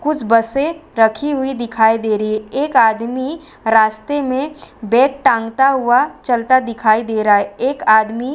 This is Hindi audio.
कुछ बसे रखी हुई दिखाई दे रही हैं एक आदमी रास्ते में बैग टांगता हुआ चलता दिखाई दे रहा है एक आदमी --